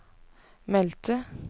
meldte